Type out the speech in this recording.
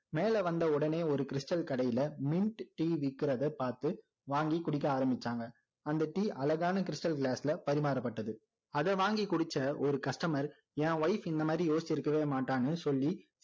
மேலே வந்த உடனே ஒரு stal கடையில mint tea விற்கிறத பார்த்து வாங்கி குடிக்க ஆரம்பிச்சாங்க அந்த tea அழகான stal glass ல பரிமாறப்பட்டது அதை வாங்கி குடிச்ச ஒரு customer என் wife இந்த மாதிரி யோசிச்சு இருக்கவே மாட்டான்னு சொல்லி